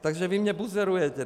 Takže vy mě buzerujete!